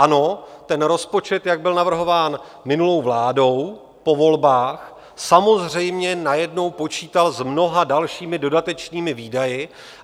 Ano, ten rozpočet, jak byl navrhován minulou vládou po volbách, samozřejmě najednou počítal s mnoha dalšími dodatečnými výdaji.